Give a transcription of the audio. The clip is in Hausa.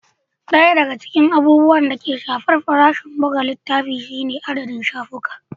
Ɗaya daga cikin abubuwan da ke shafar farashin buga littafi shine adadin shafuka.